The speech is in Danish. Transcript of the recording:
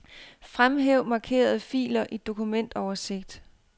Fremhæv markerede filer i dokumentoversigt.